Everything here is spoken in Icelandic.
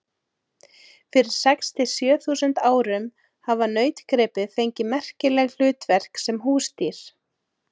Fyrir sex til sjö þúsund árum hafa nautgripir fengið merkileg hlutverk sem húsdýr.